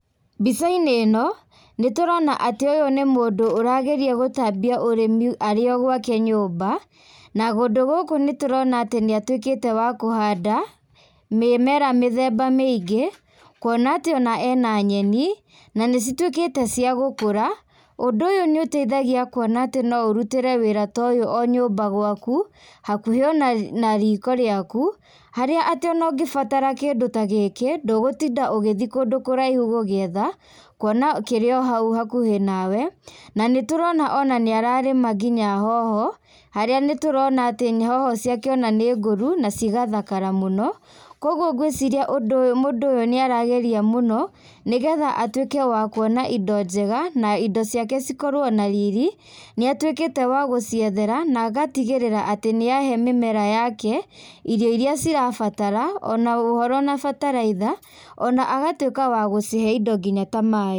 Mbica-inĩ ĩno, nĩtũrona atĩ ũyũ nĩ mũndũ ũrageria gũtambia ũrĩmi arĩ o gwake nyũmba, na kũndũ gũkũ nĩtũrona atĩ nĩ atuĩkĩte wa kũhanda mĩmera mĩthemba mĩingĩ, kũona atĩ ona ena nyeni, na nĩcituĩkĩte cia gũkũra. Ũndũ ũyũ nĩũtaithagia kuona atĩ noũrutĩre wĩra ta ũyũ onyũmba gwaku, hakuhĩ ona riko rĩaku, harĩa atĩ ona ũngĩbatara kĩndũ ta gĩkĩ, ndũgũtinda ũgĩthiĩ kũndũ kũraihu gũgĩetha, kuona kĩrĩ ohau hakuhĩ nawe, na nĩtũrona ona nĩ ararĩma nginya hoho, harĩa nĩtũrona atĩ hoho ciake ona nĩngũru, nacigathakara mũno, koguo ngwĩciria mũndũ ũyũ nĩ arageria mũno, nĩgetha atuĩke wa kuona indo njega na indo ciake cikorwo na riri, nĩ atuĩkĩte wa gũciethera na agatigĩrĩra atĩ nĩ ahe mĩmera yake irio iria cirabatara, ona ũhoro na bataraitha, ona agatuĩka wagũcihe indo nginya ta maaĩ.